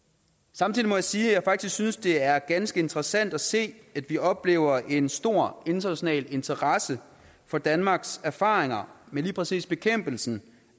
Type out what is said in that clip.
samtidig må jeg sige at jeg faktisk synes det er ganske interessant at se at vi oplever en stor international interesse for danmarks erfaringer med lige præcis bekæmpelsen